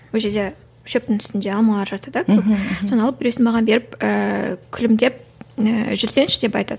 ол жерде шөптің үстінде алмалар жатты да көп мхм мхм соны алып біреуісін маған беріп ііі күлімдеп ііі жүрсеңші деп айтады